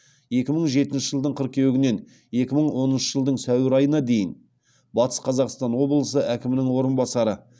екі мың жетінші жылдың қыркүйегінен екі мың оныншы жылдың сәуір айына дейін батыс қазақстан облысы әкімінің орынбасары